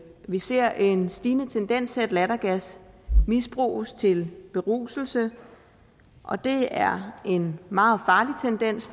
vi ser en stigende tendens til at lattergas misbruges til beruselse og det er en meget farlig tendens